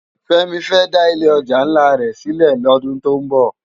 Femi fè dá ilé òjá nlá rè silè lòdún tó n bò